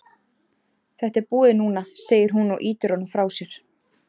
Þetta er búið núna, segir hún og ýtir honum frá sér.